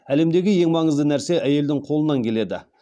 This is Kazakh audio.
әлемдегі ең маңызды нәрсе әйелдің қолынан келеді